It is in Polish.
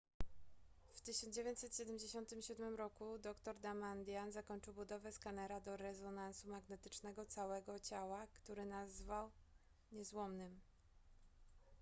w 1977 roku dr damadian zakończył budowę skanera do rezonansu magnetycznego całego ciała który nazwał niezłomnym